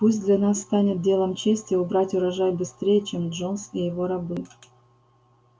пусть для нас станет делом чести убрать урожай быстрее чем джонс и его рабы